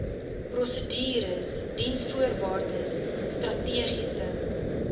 prosedures diensvoorwaardes strategiese